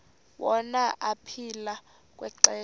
wona aphila kwixesha